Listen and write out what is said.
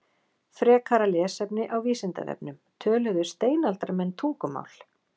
Frekara lesefni á Vísindavefnum: Töluðu steinaldarmenn tungumál?